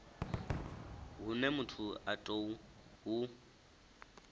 hune muthu a tou hu